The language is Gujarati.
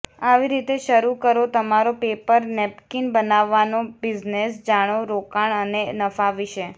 આવી રીતે શરૂ કરો તમારો પેપર નેપકીન બનાવવાનો બિઝનેસ જાણો રોકાણ અને નફા વિશે